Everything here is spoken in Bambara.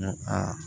N ko aa